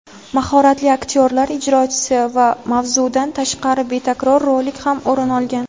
mahoratli aktyorlar ijrosi va mavzudan tashqari betakror rolik ham o‘rin olgan.